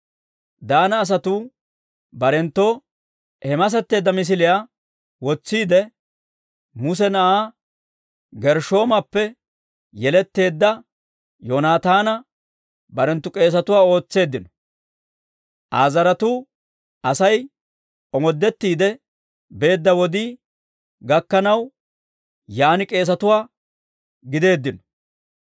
Daana asatuu barenttoo he masetteedda misiliyaa wotsiide, Muse na'aa Gershshoomappe yeletteedda Yoonataana barenttu k'eesatuwaa ootseeddino. Aa zaratuu Asay omoodettiide beedda wodii gakkanaw, yaan k'eesatuwaa gideeddino.